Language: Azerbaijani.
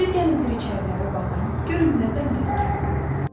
Siz gəlin bir içərilərə baxın, görün nə dəmdəsgahdır.